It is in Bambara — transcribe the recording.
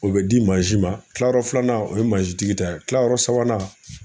O bɛ di mansi ma, tilayɔrɔ filanan ,o ye mansi tigi ta ye ,kilayɔrɔ sabanan